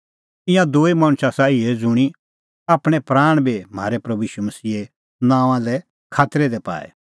ईंयां दूई मणछ आसा इहै ज़ुंणी आपणैं प्राण बी म्हारै प्रभू ईशू मसीहे नांओंआं लै खातरै दी पाऐ